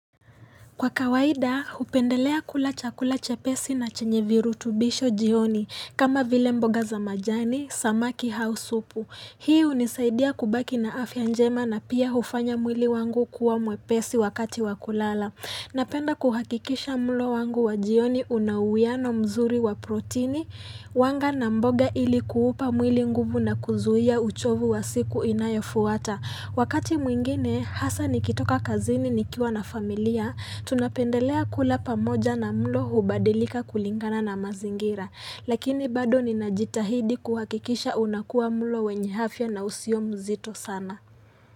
Kwa kawaida, hupendelea kula chakula chepesi na chenye virutubisho jioni, kama vile mboga za majani, samaki hau supu. Hii hunisaidia kubaki na afya njema na pia hufanya mwili wangu kuwa mwepesi wakati wakulala. Napenda kuhakikisha mulo wangu wa jioni unawuiano mzuri wa protini, wanga na mboga ilikuupa mwili nguvu na kuzuia uchovu wa siku inayofuata. Wakati mwingine, hasa nikitoka kazini nikiwa na familia, tunapendelea kula pamoja na mlo hubadilika kulingana na mazingira. Lakini bado ninajitahidi kuhakikisha unakua mlo wenye afya na usio mzito sana.